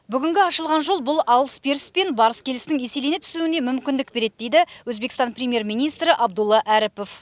бүгінгі ашылған жол бұл алыс беріс пен барыс келістің еселене түсуіне мүмкіндік береді дейді өзбекстан премьер министрі абдулла әріпов